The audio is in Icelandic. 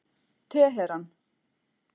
Teheran